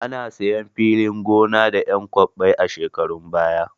Ana sayan filin gona da 'yan kwabbai a shekarun baya.